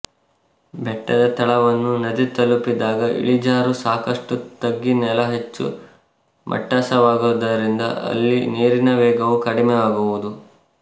ಬೆಟ್ಟದ ತಳವನ್ನು ನದಿ ತಲುಪಿದಾಗ ಇಳಿಜಾರು ಸಾಕಷ್ಟು ತಗ್ಗಿ ನೆಲ ಹೆಚ್ಚು ಮಟ್ಟಸವಾಗುವುದರಿಂದ ಅಲ್ಲಿ ನೀರಿನ ವೇಗವೂ ಕಡಿಮೆ ಆಗುವುದು